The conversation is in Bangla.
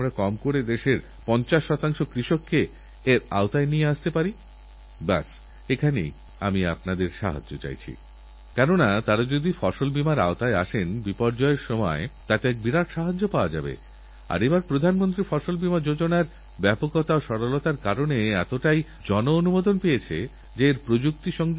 মা ও সন্তান দুজনেরই প্রাণ বাঁচানো সম্ভব হবে আর আমি স্ত্রীরোগবিশেষজ্ঞদেরবিশেষ ভাবে বলতে চাই আপনারা কি মাসের একদিন নয় তারিখ দরিদ্র মায়েদের বিনা পয়সায়চিকিৎসা করতে পারেন না আমার ডাক্তার ভাইবোনেরা কি বছরে বারো দিন দরিদ্রদের এইকাজের জন্য নিজেদের নিয়োজিত করতে পারেন না বিগত দিনে আমাকে অনেক ডাক্তাররা চিঠিলিখেছেন হাজার হাজার ডাক্তাররা আমার কথামতো এগিয়ে এসেছেন কিন্তু ভারতবর্ষ এত বড়একটা দেশ লক্ষ লক্ষ ডাক্তারদের এই অভিযানে সামিল হতে হবে